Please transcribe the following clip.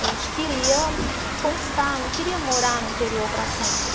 A gente queria conquistar, não queria morar no interior para sempre.